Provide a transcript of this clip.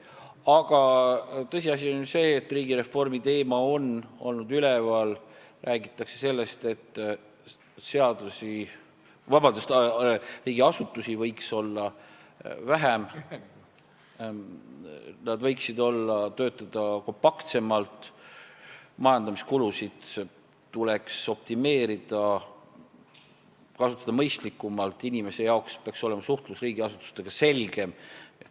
Aga tõsiasi on ju see, et riigireformiteema on olnud üleval, räägitakse sellest, et riigiasutusi võiks olla vähem, nad võiksid töötada kompaktsemalt, majandamiskulusid tuleks optimeerida, neid tuleks kasutada mõistlikumalt ning inimestele peaks suhtlemine riigiasutustega olema selgem.